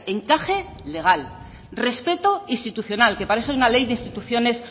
encaje legal respeto institucional que para eso es una ley de instituciones